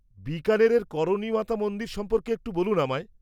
-বিকানেরের করণী মাতা মন্দির সম্পর্কে একটু বলুন আমায়।